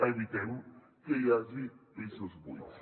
evitem que hi hagi pisos buits